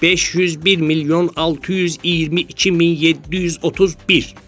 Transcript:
501 milyon 622 milyon 731.